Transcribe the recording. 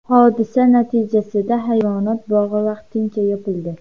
Hodisa natijasida hayvonot bog‘i vaqtincha yopildi.